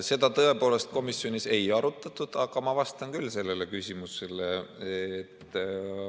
Seda tõepoolest komisjonis ei arutatud, aga ma vastan küll sellele küsimusele.